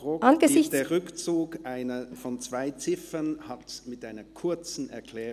Der Rückzug von zwei Ziffern hat mit einer Erklärung zu erfolgen.